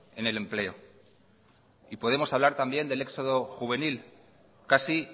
en el empleo y podemos hablar también del éxodo juvenil casi